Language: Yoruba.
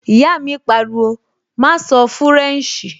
Ìyá mi pariwo, "má sọ fúrẹ̀nṣì!"